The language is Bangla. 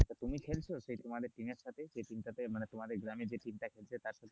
তুমি খেলছো সেই তোমাদের team এর সাথে সেই team মানে তোমাদের গ্রামের team এর সাথে,